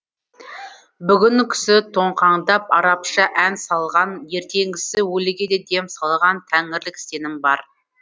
бүгінгісі тоңқаңдап арабша ән салған ертеңгісі өліге де дем салған тәңірлік сенім бар